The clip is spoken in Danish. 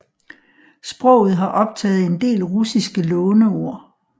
Sproget har optaget en del russiske låneord